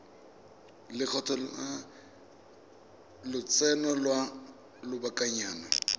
lekgetho la lotseno lwa lobakanyana